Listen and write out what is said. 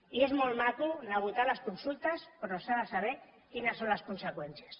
i és molt maco anar a votar a les consultes però s’ha de saber quines són les conseqüències